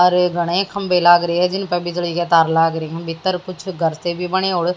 और घने खंभे लाग रहे हैं जिन पर बिजली के तार लाग रहे हैं भीतर कुछ घर से भी बने और --